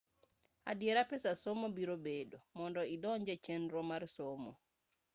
adiera pesa somo birobedo mondo idonj echenro mar somo